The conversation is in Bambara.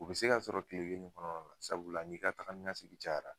U bi se ka sɔrɔ kile kelen kɔrɔ na la sabula ni ka taga ni ka sigin cayara.